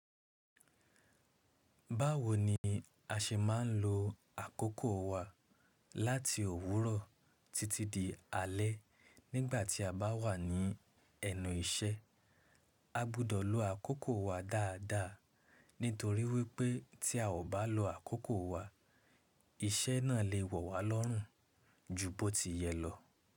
Báwo ni a ṣe máa ń lo àkókò wa láti òwúrọ̀ títí dé alẹ́ nígbà tí a bá wà ní ẹnu iṣẹ́? A gbudọ̀ lo àkókò wa dáadáa, nítorí wípé tí a ò bá lo àkókò wa, iṣẹ́ náà lè wọ̀ wá lọ́rùn ju bó ti yẹ lọ.